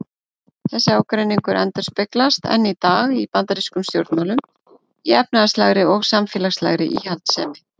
Þessi ágreiningur endurspeglast enn í dag í bandarískum stjórnmálum í efnahagslegri og samfélagslegri íhaldssemi.